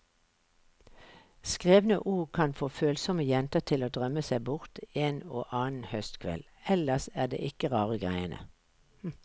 Skrevne ord kan få følsomme jenter til å drømme seg bort en og annen høstkveld, ellers er det ikke rare greiene.